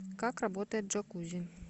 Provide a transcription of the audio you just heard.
как работает джакузи